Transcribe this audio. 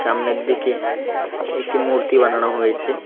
সামনের দিকে একটি মূর্তি বানানো হয়েছে।